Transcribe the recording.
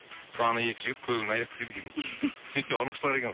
сол екі жігіт көлігін айдап кетеді екен сөйтсе ұрлықшылар екен